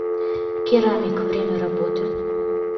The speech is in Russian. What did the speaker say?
керамик время работы